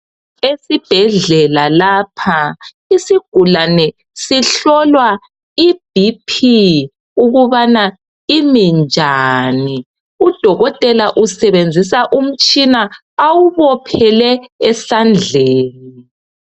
Esibhedlela lapha isigulane sihlolwa i"BP" ukubana imi njani. Udokotela usebenzisa umtshina awubophele esandleni.